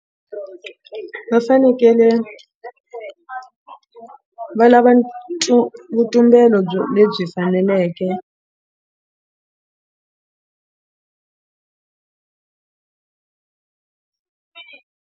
Va fanekele va lava vutumbelo byo lebyi faneleke.